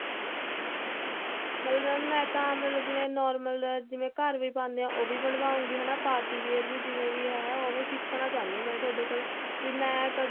ਮਤਲਬ mam ਮੈਂ ਤਾਂ ਮਤਲਬ ਜਿਵੇਂ normal ਜਾ ਘਰ ਵੀ ਪਾਉਂਦੇ ਆ ਉਹ ਵੀ ਬਣਵਾਉਗੀ ਹਨਾ party wear ਵੀ ਜਿਵੇਂ ਵੀ ਹੈ ਉਵੇਂ ਸਿੱਖਣਾ ਚਾਹੁੰਦੀ ਆ ਮੈ ਤੁਹਾਡੇ ਕੋਲੋਂ ਵੀ ਮੈਂ ਕਦੀ